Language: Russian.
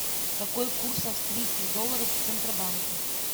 какой курс австрийских долларов в центробанке